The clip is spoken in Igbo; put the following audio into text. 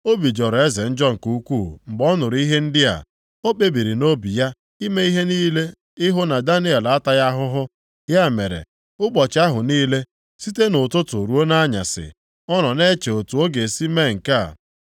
Obi jọrọ eze njọ nke ukwuu mgbe ọ nụrụ ihe ndị a. O kpebiri nʼobi ya ime ihe niile ịhụ na Daniel ataghị ahụhụ. Ya mere, ụbọchị ahụ niile, site nʼụtụtụ ruo nʼanyasị, ọ nọ na-eche otu ọ ga-esi mee nke a.